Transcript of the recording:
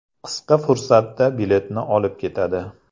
Qisqa fursatda biletni olib ketadi.